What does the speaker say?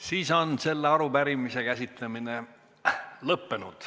Sel juhul on selle arupärimise käsitlemine lõppenud.